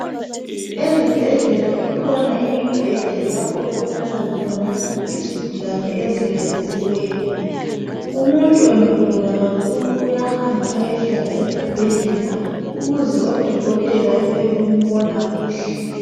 Ezibhedlela ikhona imibheda lapho okulala khona izigulane ezilalisiweyo. Umuntu engagula kakhulu uyahamba ayehlala esibhedlela ukuze odokotelea bebembona kuhle